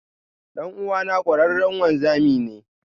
Dan'uwana kwararre wanzami ne.